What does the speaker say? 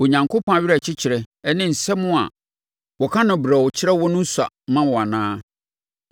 Onyankopɔn awerɛkyekyerɛ ne nsɛm a wɔka no brɛoo kyerɛ wo no sua ma wo anaa?